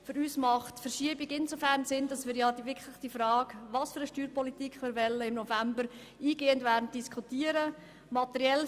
Für uns macht die Verschiebung insofern Sinn, als wir die Frage, welche Steuerpolitik wir wollen, im November eingehend diskutieren werden.